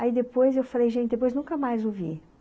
Aí depois eu falei, gente, depois nunca mais o vi.